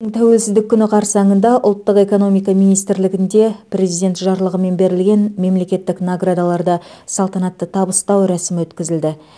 тәуелсіздік күні қарсаңында ұлттық экономика министрлігінде президент жарлығымен берілген мемлекеттік наградаларды салтанатты табыстау рәсімі өткізілді